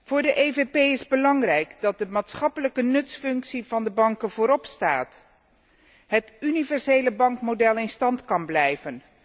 Voor de EVP is het belangrijk dat de maatschappelijke nutsfunctie van de banken vooropstaat en dat het universele bankmodel in stand kan blijven.